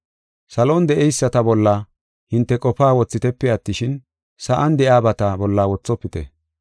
Salon de7eyisata bolla hinte qofaa wothitepe attishin, sa7an de7iyabata bolla wothofite.